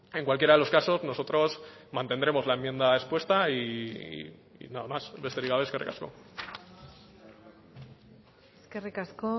en cualquiera de los casos nosotros mantendremos la enmienda expuesta y nada más besterik gabe eskerrik asko eskerrik asko